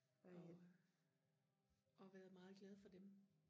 og og været meget glad for dem